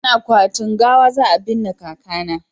cikin akwatin gawa za a binne kaka na